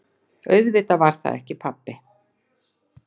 Auðvitað var það ekki pabbi!